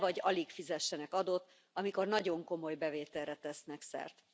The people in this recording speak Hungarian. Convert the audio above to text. ne vagy alig fizessenek adót, amikor nagyon komoly bevételre tesznek szert.